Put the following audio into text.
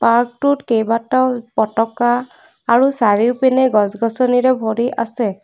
Park টোত কেইবাটাও পতাকা আৰু চাৰিওপিনে গছ-গছনিৰে ভৰি আছে।